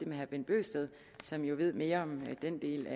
med herre bent bøgsted som jo ved mere om den del